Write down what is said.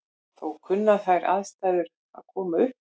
Þó kunna þær aðstæður að koma upp.